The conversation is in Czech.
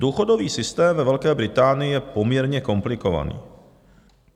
Důchodový systém ve Velké Británii je poměrně komplikovaný.